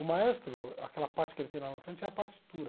O maestro, aquela parte que ele tem lá na frente, é a partitura.